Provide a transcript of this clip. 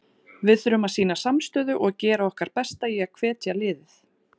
Við þurfum að sýna samstöðu og gera okkar besta í að hvetja liðið.